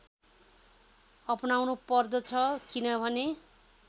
अपनाउनु पर्दछ किनभने